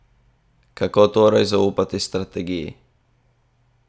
Kako torej zaupati strategiji?